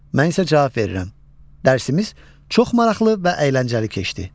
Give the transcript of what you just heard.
Mən isə cavab verirəm: Dərsimiz çox maraqlı və əyləncəli keçdi.